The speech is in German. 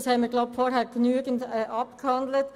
Darüber haben wir vorhin genügend diskutiert.